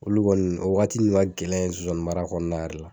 Olu kɔni, o wagati nunnu ka gɛlɛn zonzanni mara kɔnɔna yɛrɛ la.